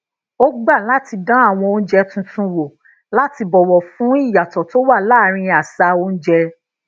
ó gba lati dán àwọn oúnjẹ tuntun wò láti bowo fun iyato to wa laarin àṣà oúnjẹ